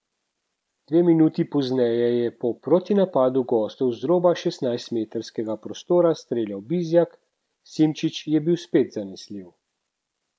Dve minuti pozneje je po protinapadu gostov z roba šestnajstmetrskega prostora streljal Bizjak, Simčič je bil spet zanesljiv.